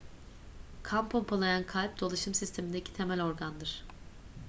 kan pompalayan kalp dolaşım sistemindeki temel organdır